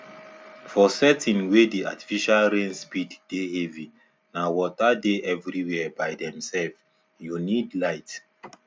for setting wey the artificial rain speed dey heavy na water dey everywhere by themselvesyou need light